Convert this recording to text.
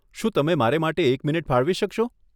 શું તમે મારે માટે એક મિનિટ ફાળવી શકશો?